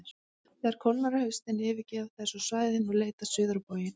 Þegar kólnar á haustin yfirgefa þær svo svæðin og leita suður á bóginn.